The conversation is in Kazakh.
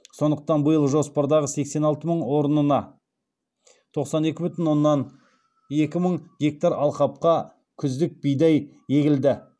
сондықтан биыл жоспардағы сексен алты мың орнына тоқсан екі бүтін оннан екі мың гектар алқапқа күздік бидай егілді